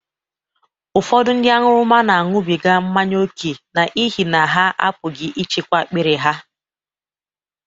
Ụfọdụ ndị aṅụrụma na-aṅụbiga mmanya ókè n’ihi na ha apụghị ịchịkwa akpiri ha.